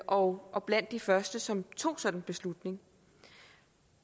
og og blandt de første som tog sådan en beslutning